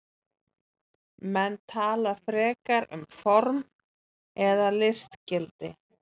Menn tala frekar um form eða listgildi.